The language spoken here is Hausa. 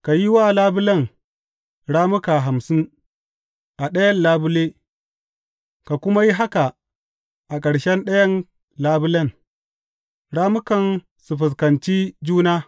Ka yi wa labulen rammuka hamsin a ɗayan labule, ka kuma yi haka a ƙarshe ɗayan labulen, rammukan su fuskanci juna.